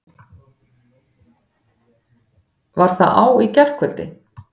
Var það á í gærkvöldi?